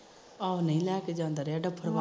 ਆਹੋ ਨੀ ਲੈਕੇ ਜਾਂਦਾ ਰਿਹਾ